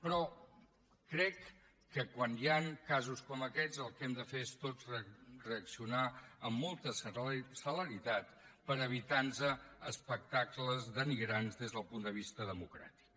però crec que quan hi han casos com aquests el que hem de fer és tots reaccionar amb molta celeritat per evitar nos espectacles denigrants des del punt de vista democràtic